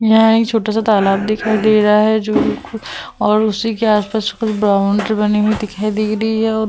यहाँ एक छोटा सा तालाब दिखाई दे रहा है जो और उसी के आसपास कुछ बाउंड्री बनी हुई दिखाई दे रही है।